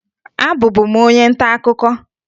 Abụbu m onye ntaakụkọ